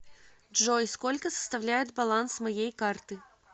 джой сколько составляет баланс моей карты